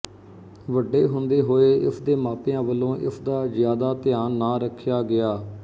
ਵੱਡੇ ਹੁੰਦੇ ਹੋਏ ਇਸਦੇ ਮਾਪਿਆਂ ਵੱਲੋਂ ਇਸਦਾ ਜ਼ਿਆਦਾ ਧਿਆਨ ਨਾ ਰੱਖਿਆ ਗਿਆ